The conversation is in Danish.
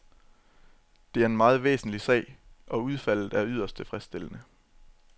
Det er en meget væsentlig sag, og udfaldet er yderst tilfredsstillende.